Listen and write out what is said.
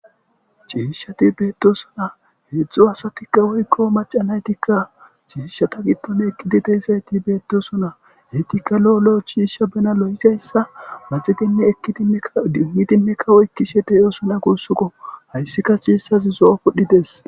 Cishati betosona hedzu macca nayit cishata giddon betidezayiti betiosona ettika loo loo cisha bena loyizaysa maxiddikka idimi idimi oyikidosona gusukko hayissi cishazi zoo pudhi dessi